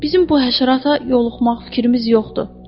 Bizim bu həşərata yoluxmaq fikrimiz yoxdur.